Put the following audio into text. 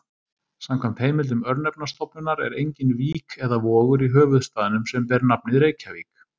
Samkvæmt heimildum Örnefnastofnunar er engin vík eða vogur í höfuðstaðnum sem ber nafnið Reykjavík.